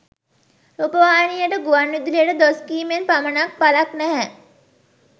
රූපවාහිනියට ගුවන් විදුලියට දොස් කීමෙන් පමණක් ඵලක් නැහැ.